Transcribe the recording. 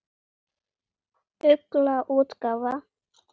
Ugla útgáfa.